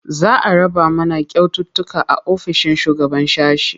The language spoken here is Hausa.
Za a raba mana kyaututtuka a ofishin shugaban sashe.